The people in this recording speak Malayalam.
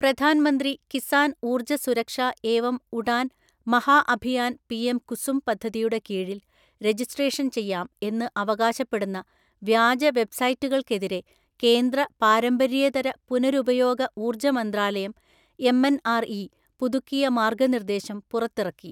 പ്രധാൻമന്ത്രി കിസാൻ ഊർജ സുരക്ഷാ ഏവം ഉടാൻ മഹാഅഭിയാൻ പിഎം കുസും പദ്ധതിയുടെ കീഴിൽ രജിസ്ട്രേഷൻ ചെയ്യാം എന്ന് അവകാശപ്പെടുന്ന വ്യാജ വെബ്സൈറ്റുകൾക്കെതിരെ കേന്ദ്ര പാരമ്പര്യേതര പുനരുപയോഗ ഊർജമന്ത്രാലയം എംഎൻആർഇ പുതുക്കിയ മാർഗനിർദേശം പുറത്തിറക്കി.